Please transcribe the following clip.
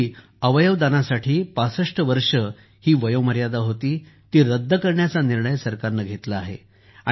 पूर्वी अवयवदानासाठी ६५ वर्षे ही वयोमर्यादा होती ती रद्द करण्याचा निर्णय सरकारने घेतला आहे